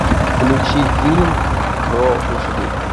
включи фильм про лошадей